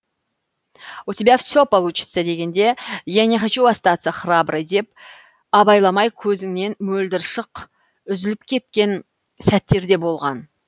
у тебя все получится дегенде я не хочу остаться храброй деп абайламай көзіңнен мөлдір шық үзіліп кеткен сәттер де болған